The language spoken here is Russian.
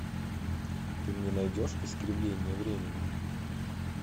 ты мне найдешь искривление времени